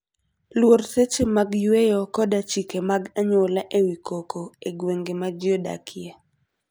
Luor seche mag yueyo koda chike mag anyuola e wi koko e gwenge ma ji odakie.